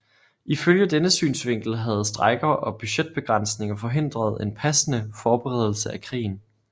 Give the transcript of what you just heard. Ifølge denne synsvinkel havde strejker og budgetbegrænsninger forhindret en passende forberedelse af krigen